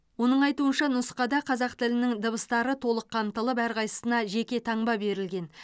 оның айтуынша нұсқада қазақ тілінің дыбыстары толық қамтылып әрқайсысына жеке таңба берілген